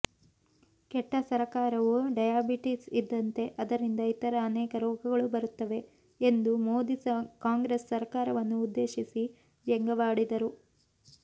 ಕೆಟ್ಟ ಸರಕಾರವು ಡಯಾಬಿಟೀಸ್ ಇದ್ದಂತೆ ಅದರಿಂದ ಇತರ ಅನೇಕ ರೋಗಗಳು ಬರುತ್ತವೆ ಎಂದು ಮೋದಿ ಕಾಂಗ್ರೆಸ್ ಸರಕಾರವನ್ನು ಉದ್ದೇಶಿಸಿ ವ್ಯಂಗ್ಯವಾಡಿದರು